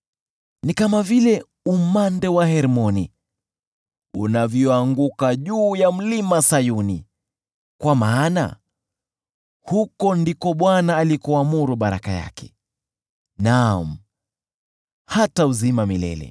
Ni kama vile umande wa Hermoni unavyoanguka juu ya Mlima Sayuni. Kwa maana huko ndiko Bwana alikoamuru baraka yake, naam, hata uzima milele.